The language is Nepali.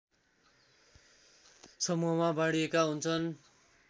समूहमा बाँडिएका हुन्छन्